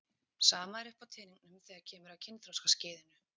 Sama er uppi á teningnum þegar kemur að kynþroskaskeiðinu.